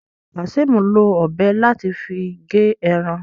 Kazeem ló Ọ̀bẹ láti fí ge èràn